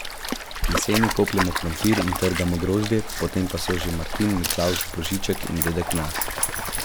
Jeseni kopljemo krompir in trgamo grozdje, potem pa so že Martin, Miklavž, Božiček in Dedek Mraz.